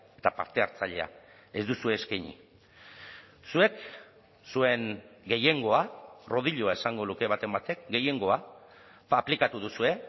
eta partehartzailea ez duzue eskaini zuek zuen gehiengoa rodiloa esango luke baten batek gehiengoa aplikatu duzue